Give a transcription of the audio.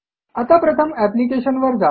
आता प्रथम एप्लिकेशन वर जा